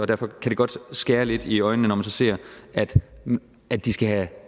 derfor kan det godt skære lidt i øjnene når man så ser at at de skal have